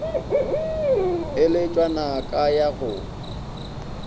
e letšwa naka ya go